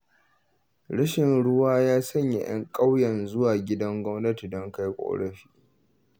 Rashin ruwa ya sanya 'yan ƙauyen zuwa gidan gwamnati don kai ƙorafi.